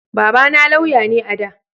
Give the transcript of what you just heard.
Baba na lauya ne a da